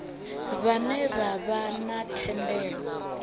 vhane vha vha na thendelo